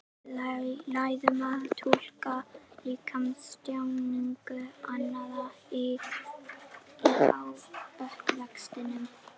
Við lærum að túlka líkamstjáningu annarra í uppvextinum.